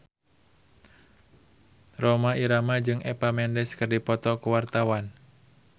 Rhoma Irama jeung Eva Mendes keur dipoto ku wartawan